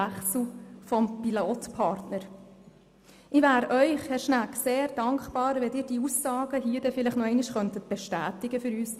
Ich wäre Ihnen sehr dankbar, wenn Sie die Aussagen hier noch einmal bestätigen könnten, Herr Schnegg.